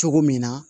Cogo min na